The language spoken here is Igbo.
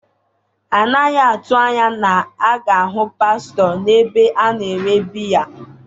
A naghị atụ anya na a ga-ahụ pastọ n’ebe a na-ere biya